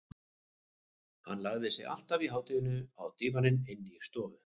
Hann lagði sig alltaf í hádeginu á dívaninn inni í stofu.